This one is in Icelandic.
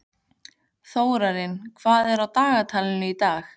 Þórarinn, hvað er á dagatalinu í dag?